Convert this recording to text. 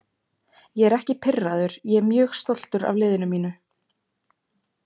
Ég er ekki pirraður, ég er mjög stoltur af liðinu mínu.